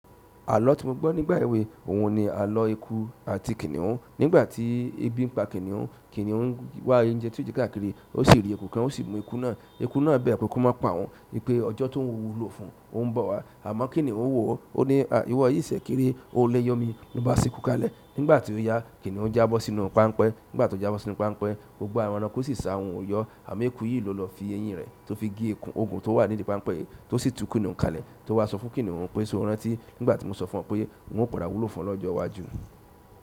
Àlọ ti mo gbọ nígbà ewe òun ni alọ eku àti kinihun. Nígbà tí ebi ń pa kìnìún, kìnìún wá oúnjẹ tó yo jẹ káàkiri, ó sì rí eku kan, ó sì mú eku náà. Eku náà bẹ́ẹ̀ ko má pa ohun wípé ọjọ́ tó ń wú wúlò fún òun ń bọ̀ wá. Àmọ́ kìnìún wò ó, ó ní iwọ yì sẹ̀ kéré, ó léyọmi, ó bá a sí ku kalẹ̀. Nígbà tí ó yá, kìnìún jábọ́ sínú pápánpẹ́. Nígbà tó jábọ́ sínú pápánpẹ́, gbogbo àwọn ẹranko sì sa ohùn ò yọ́. Àmọ́ eku yìí ló lọ fi eyín rẹ̀ tó fi gé oku okun tó wà nídìí pápánpẹ́ yìí, tó sì tú kìnìún kalẹ̀. Tó wá sọ fún kìnìún pé ṣé o rántí nígbà tí mo sọ fún ọ pé n ó padà wú lo fún ọ lọ́jọ́ iwájú.